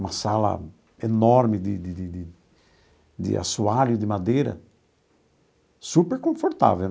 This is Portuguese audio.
Uma sala enorme de de de de de assoalho, de madeira, super confortável.